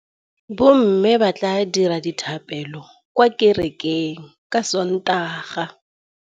Bommê ba tla dira dithapêlô kwa kerekeng ka Sontaga.